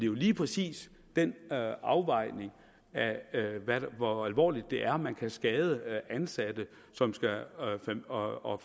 jo lige præcis den afvejning af hvor alvorligt det er at man kan skade ansatte og og